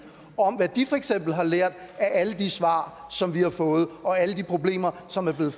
om hvad de for eksempel har lært af alle de svar som vi har fået og alle de problemer som er blevet